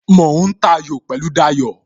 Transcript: Mo ń ta ayò pẹ̀lú Dayo